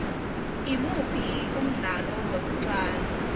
imuphi umdlalo wokuqala